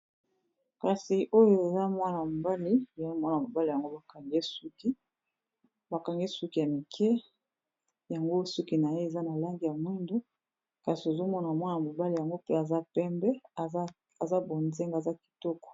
kasi oyo eza mwana mobali , mwana mobale yango bakangi ye suki , bakangi suki ya mike yango suki na ye eza na langi ya mwindu kasi ozomona mwana mobali yango pe aza pembe aza bonzinge aza kitoko